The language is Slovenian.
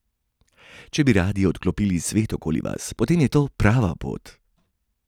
Če bi radi odklopili svet okoli vas, potem je to prava pot!